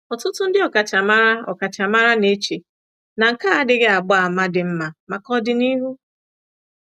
Ọtụtụ ndị ọkachamara ọkachamara na-eche na nke a adịghị agba àmà dị mma maka ọdịnihu.